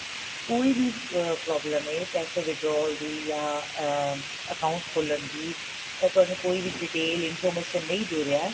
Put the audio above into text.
ਕੋਈ ਵੀ problem ਏ ਪੈਸੇ withdraw ਦੀ ਜਾਂ ਅਹ account ਖੋਲਣ ਦੀ ਤਾਂ ਤੁਹਾਨੂੰ ਕੋਈ ਵੀ detail information ਨਹੀਂ ਦੇ ਰਿਹਾ